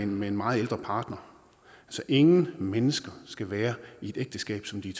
med en meget ældre partner ingen mennesker skal være i et ægteskab som de